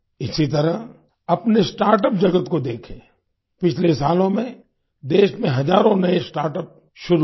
इसी तरह अपने स्टार्टअप जगत को देखें पिछले सालों में देश में हजारों नए स्टार्टअप शुरू हुए